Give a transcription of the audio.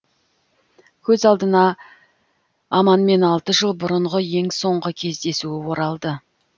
көз алдына аманмен алты жыл бұрынғы ең соңғы кездесуі оралды